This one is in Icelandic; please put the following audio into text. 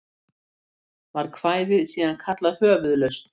Var kvæðið síðan kallað Höfuðlausn.